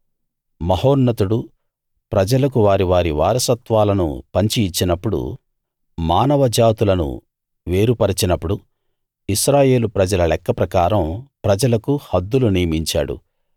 మహోన్నతుడు ప్రజలకు వారి వారి వారసత్వాలను పంచి ఇచ్చినప్పుడు మానవ జాతులను వేరు పరచినపుడు ఇశ్రాయేలు ప్రజల లెక్క ప్రకారం ప్రజలకు హద్దులు నియమించాడు